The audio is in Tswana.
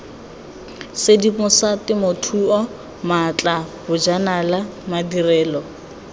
sedimosa temothuo maatla bojanala madirelo